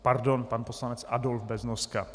Pardon, pan poslanec Adolf Beznoska.